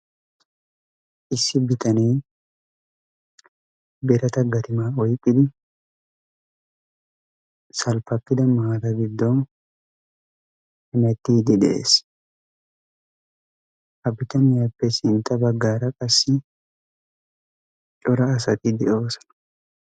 Issi bitanee berata garimaa oiqqidi salppappida maala giddon hanattiiddi de'ees. ha bitaniyaappe sintta baggaara qassi cora asati de'oosona.